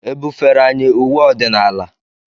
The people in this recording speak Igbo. E bufere anyị uwe ọdịnala?